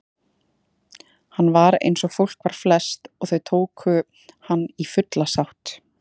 Hann var einsog fólk var flest og þau tóku hann í fulla sátt.